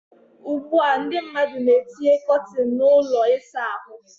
Ugbu a ndị mmadụ na etinye kọtin na ụlọ ịsa ahụ.